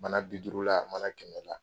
Mana bi duuru la mana kɛmɛla